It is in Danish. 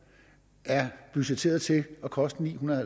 er budgetteret til at koste ni hundrede